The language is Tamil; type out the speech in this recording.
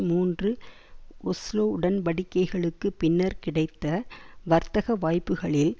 மூன்று ஒஸ்லோ உடன்படிக்கைகளுக்கு பின்னர் கிடைத்த வர்த்தக வாய்ப்புக்களில்